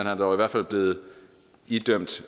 er dog i hvert fald blevet idømt